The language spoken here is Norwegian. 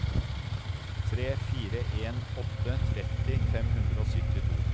tre fire en åtte tretti fem hundre og syttito